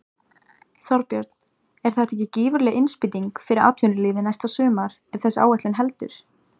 Þorbjörn: Er þetta ekki gífurleg innspýting fyrir atvinnulífið næsta sumar ef þessi áætlun heldur?